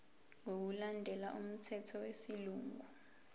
ngokulandela umthetho wesilungu